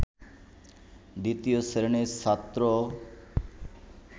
দ্বিতীয় শ্রেণির ছাত্র